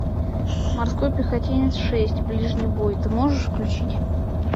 морской пехотинец шесть ближний бой ты можешь включить